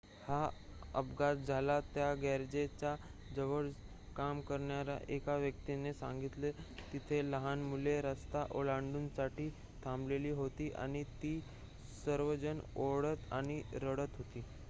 "हा अपघात झाला त्या गॅरेजच्या जवळ काम करणाऱ्या एका व्यक्तिने सांगितलेः "तिथे लहान मुले रस्ता ओलांडण्यासाठी थांबलेली होती आणि ती सर्वजण ओरडत आणि रडत होती.""